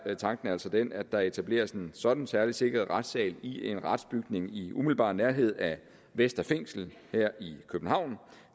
tanken altså den at der etableres en sådan særligt sikret retssal i en retsbygning i umiddelbar nærhed af vestre fængsel her i københavn